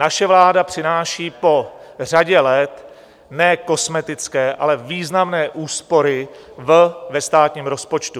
Naše vláda přináší po řadě let ne kosmetické, ale významné úspory ve státním rozpočtu.